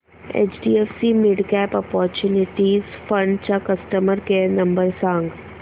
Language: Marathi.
एचडीएफसी मिडकॅप ऑपर्च्युनिटीज फंड चा कस्टमर केअर नंबर सांग